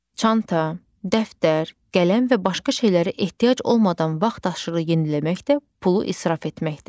Çanta, dəftər, qələm və başqa şeylərə ehtiyac olmadan vaxtaşırı yeniləmək də pulu israf etməkdir.